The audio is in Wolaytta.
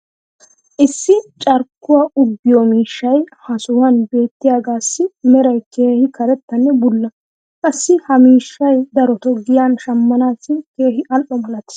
issi carkkuwaa uuggiyo miishshay ha sohuwan beettiyaagaassi meray keehi karettanne bulla. qassi ha miishshay darotoo giyan shamanaassi keehi al'o malatees.